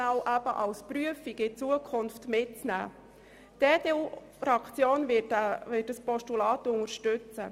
Die EDUFraktion wird dieses Postulat unterstützen.